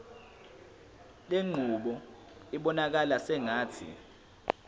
lenqubo ibonakala sengathi